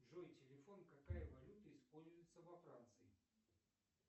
джой телефон какая валюта используется во франции